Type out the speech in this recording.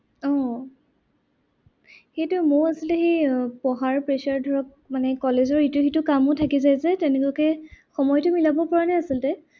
আহ সেইটোয়ে মইও আচলতে সেই পঢ়াৰ pressure ধৰক। মানে college ৰ ইটো সিটো কামো থাকি যায় যে তেনেকুৱাকে সময়তো মিলাব পৰা নাই আচলতে।